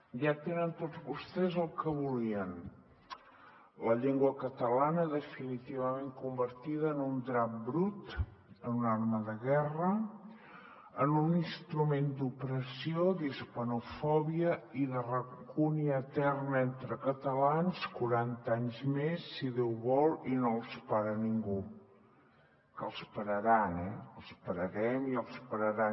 ja tenen tots vostès el que volien la llengua catalana definitivament convertida en un drap brut en una arma de guerra en un instrument d’opressió d’hispanofòbia i de rancúnia eterna entre catalans quaranta anys més si déu vol i no els para ningú que els pararan eh els pararem i els pararan